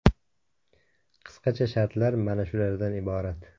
Qisqacha shartlar mana shulardan iborat.